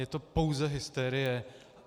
Je to pouze hysterie.